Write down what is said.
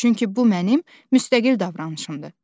Çünki bu mənim müstəqil davranışımdır.